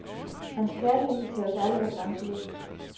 Hans kærlighed til os alle var grænseløs.